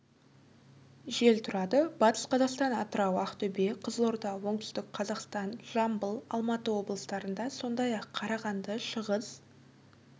жел тұрады батыс қазақстан атырау ақтөбе қызылорда оңтүстік қазақстан жамбыл алматы облыстарында сондай-ақ қарағанды шығыс